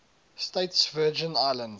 states virgin islands